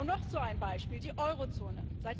Noch so ein Beispiel die Eurozone.